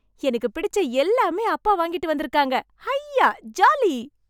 எனக்கு பிடிச்ச எல்லாமே அப்பா வாங்கிட்டு வந்திருக்காங்க ஐயா ஜாலி!